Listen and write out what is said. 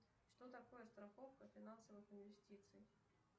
что такое страховка финансовых инвестиций